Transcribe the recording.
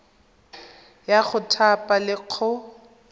ya go thapa le go